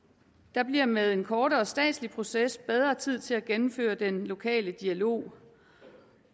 der bliver med en kortere statslig proces bedre tid til at gennemføre den lokale dialog